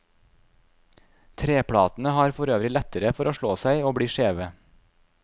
Treplatene har forøvrig lettere for å slå seg og bli skjeve.